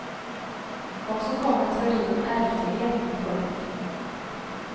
Och så kommer teorin om ärftlighet. punkt